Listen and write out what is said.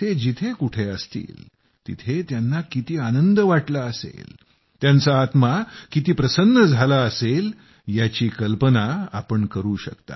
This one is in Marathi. ते जिथं कुठं असतील तिथं त्यांना किती आनंद वाटला असेल त्यांचा आत्मा किती प्रसन्न झाला असेल याची कल्पना तुम्ही मंडळी करू शकता